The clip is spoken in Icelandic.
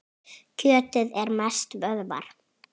Kjötið er mest vöðvar.